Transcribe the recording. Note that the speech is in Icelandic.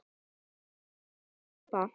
Þetta var góð súpa.